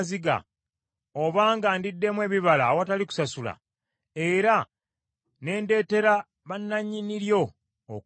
obanga ndiddemu ebibala awatali kusasula, era ne ndeetera bannannyini lyo okufa,